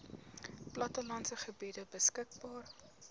plattelandse gebiede beskikbaar